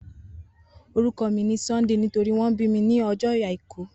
Oruko mi ni Sunday nitori won bi mi ni ojo Aiku